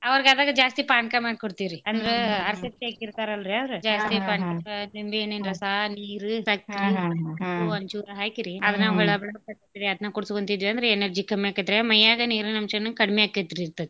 ಅವ್ರೀಗ್ ಆದಾಗ ಜಾಸ್ತಿ ಪಾನ್ಕಾ ಮಾಡ್ಕೊಡ್ತಿವ್ರೀ ಅಂದ್ರ ಅರ್ಶಕ್ತಿ ಆಕೀರ್ತಾರಲ್ರಾ ಅವ್ರು ಜಾಸ್ತಿ ಪಾನ್ಕಾ ನಿಂಬಿಹಣ್ಣಿ ರಸಾ ನೀರೂ ಸಕ್ರೀ ಒಂಚೂರ್ ಹಾಕ್ರಿ ಹೊಳ್ಳಾ ಬಳ್ಳಾ ಅದ್ನ ಕುಡ್ಸ್ಕೋಂತ ಇದ್ದವ್ಯಂದ್ರ energy ಕಮ್ಯಾಕತ್ರಾ ಮೈಯಾಗ ನೀರಿನ್ ಅಂಶಾನು ಕಡ್ಮಿಆಕೇತೀರ್ತೇತ್ರೀ.